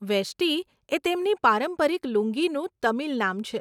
વેષ્ટિ એ તેમની પારંપરિક લુંગીનું તમિલ નામ છે.